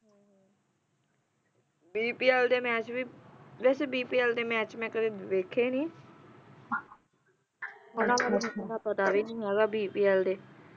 bpl ਦੇ match ਵੀ ਵੈਸੇ bpl ਦੇ ਮੈਚ ਮੈਂ ਕਦੇ ਵੇਖੇ ਨੇ ਬੜਾ ਮੈਨੂੰ ਪਤਾ ਵੀ ਨਹੀਂ ਹੈਗਾ bpl ਦੇ